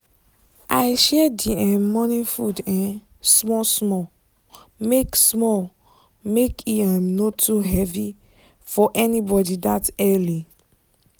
i share the um morning food um small small make small make no too heavy for anybody that early